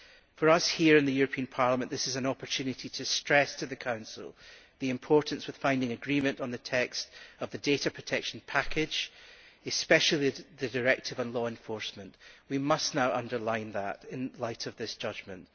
For us here in the European Parliament this is an opportunity to stress to the Council the importance of finding agreement on the text of the data protection package, especially the directive on law enforcement. We must now underline that in light of this judgment.